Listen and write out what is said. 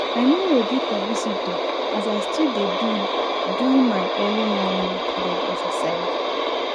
i nor readi for visitor as i still dey do do my early momo bed exercise